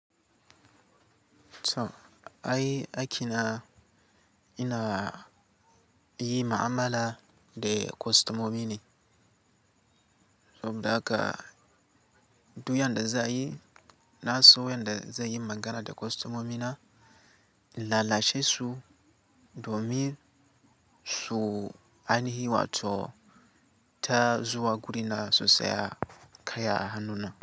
So ai akina ina yi ma'amala da kostomomi ne. Saboda da haka daga du yanda za yi, na so yanda zai yi magana da kostomomina, in lalashe su domin su anahi wato ta zuwa guri na su saya kaya a hannuna.